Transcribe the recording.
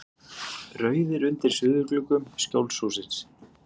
Rauðir undir suðurgluggum Skjólshússins.